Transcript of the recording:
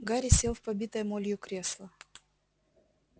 гарри сел в побитое молью кресло